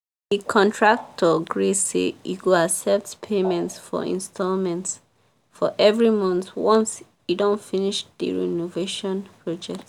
the contractor gree say e go accept payment for installments for every month once e don finish the renovation project.